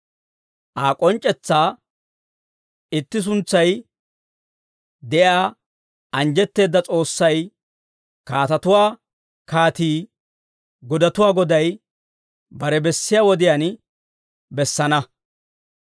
Aa k'onc'c'etsaa, Itti suntsay de'iyaa anjjetteedda S'oossay, kaatatuwaa Kaatii, godatuwaa Goday, bare bessiyaa wodiyaan bessana.